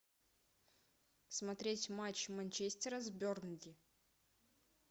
смотреть матч манчестера с бернли